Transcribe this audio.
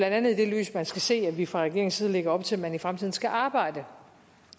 andet i det lys man skal se at vi fra regeringens side lægger op til at man i fremtiden skal arbejde